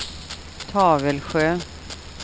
Tavelsjö